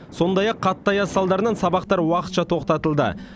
сондай ақ қатты аяз салдарынан сабақтар уақытша тоқтатылды